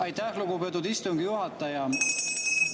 Aitäh, lugupeetud istungi juhataja!